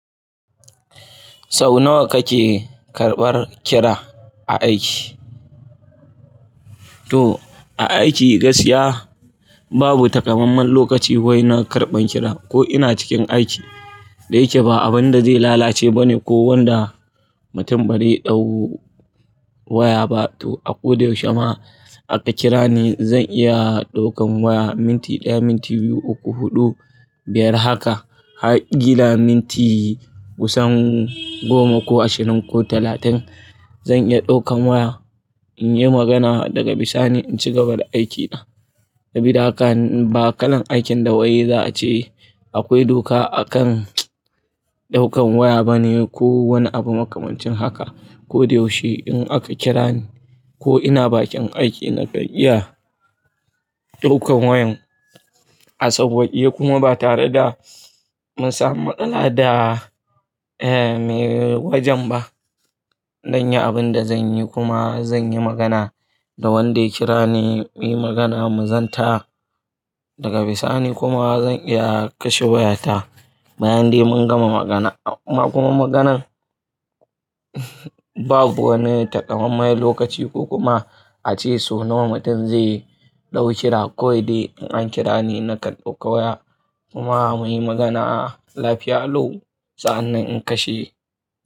Sau nawa kake karɓar kira a aiki? To a aiki gaskiya babu takamaiman lokaci wai na karban kira ko ina cikin aiki. Da yake ba abin da zai lalace ba ne ko wanda mutum bari ɗau waya ba. To a ko da yaushe ma aka kira ni zan iya ɗaukan waya minti ɗaya, minti biyu, uku, huɗu, biyar haka. Har ƙila minti kusan goma ko ashirin ko talatin zan iya ɗaukan waya in yi magana daga bisa ni in ci gaba da aikin na. Sabida haka ba kalan aikin da wai za a ce akwai doka a kan ɗaukan waya ba ne ko wani abu makamancin haka. Ko da yaushe in aka kira ni ko ina bakin aiki na kan iya ɗaukan wayan. A sauwaƙe kuma ba tare da mun samu matsala da eh me wajen ba. Dan yi abin da zan yi kuma zan yi magana da wanda ya kira ni muyi magana mu zanta daga bisa ni kuma zan iya kashe wayata bayan dai mun gama magana. Kuma maganan babu wani takamaime lokaci ko kuma a ce so nawa mutum zai ɗau kira. Kawai dai in an kira ni na kan ɗauka waya kuma muyi magana. Lafiya lau sa'an nan in kashe.